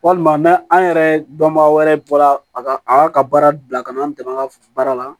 Walima n'an an yɛrɛ dɔnbaga wɛrɛ bɔra a ka a ka baara bila ka n'an dɛmɛ an ka baara la